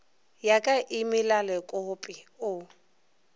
ya ka e melalekope o